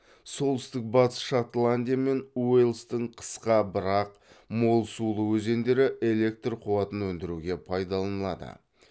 солтүстік батыс шотландия мен уэльстің қысқа бірақ мол сулы өзендері электр қуатын өндіруге пайдаланылады